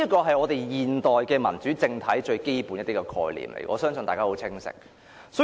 這是現代民主政體最基本的概念，我相信大家對此亦十分清楚。